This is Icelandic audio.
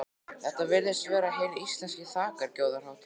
Þetta virðist vera hin íslenska þakkargjörðarhátíð.